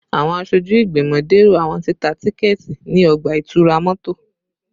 Awọn aṣoju igbimọ dẹrọ awọn tita tikẹti ni ọgba-itura mọto